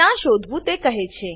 ક્યાં શોધવું તે કહે છે